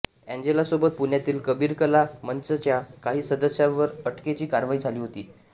एंजेलासोबत पुण्यातील कबीर कला मंचच्या काही सदस्यांवर अटकेची कारवाई झाली होती